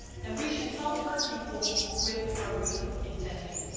We should not hurt people with our good intentions.